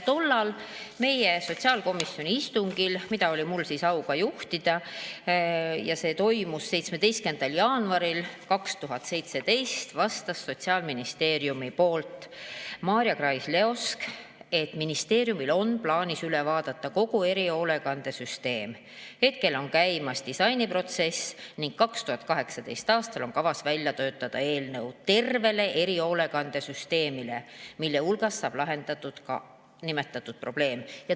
Tollal meie sotsiaalkomisjoni istungil, mida oli mul au juhtida ja mis toimus 17. jaanuaril 2017, vastas Sotsiaalministeeriumi poolt Maarja Krais-Leosk, et ministeeriumil on plaanis üle vaadata kogu erihoolekandesüsteem, hetkel on käimas disainiprotsess ning 2018. aastal on kavas välja töötada eelnõu terve erihoolekandesüsteemi kohta, millega saab lahendatud ka nimetatud probleem.